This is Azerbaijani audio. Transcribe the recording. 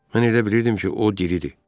Mən elə bilirdim ki, o diridir.